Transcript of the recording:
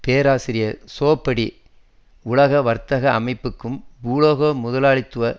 பேராசிரியர் சோபடி உலக வர்த்தக அமைப்புக்கும் பூகோள முதலாளித்துவத